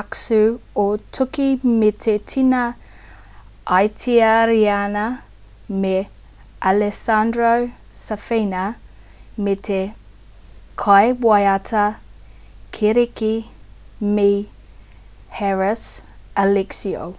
aksu o tūki me te tena itariana me alessandro safina me te kaiwaiata kiriki me haris alexiou